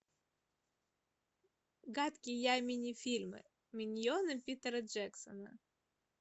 гадкий я мини фильмы миньоны питера джексона